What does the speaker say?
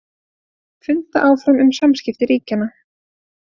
Funda áfram um samskipti ríkjanna